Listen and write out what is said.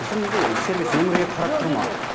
бізде неге сервис өңірге қарап тұр ма